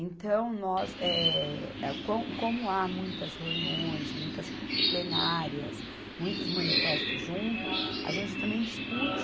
Então, nós, eh, co, como há muitas reuniões, muitas plenárias, muitos manifesto junto, a gente também discute.